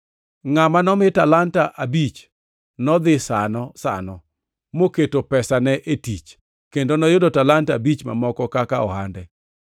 Ngʼama nomi talanta abich nodhi sano sano moketo pesane e tich, kendo noyudo talanta abich mamoko kaka ohande.